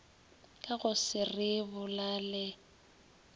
ka go se re robalele